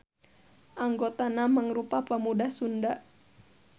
Anggotana mangrupa pamuda Sunda.